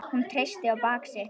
Hún treysti á bak sitt.